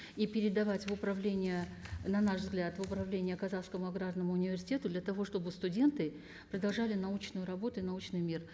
и передавать в управление на наш взгляд в управление казахскому аграрному университету для того чтобы студенты продолжали научную работу и научный мир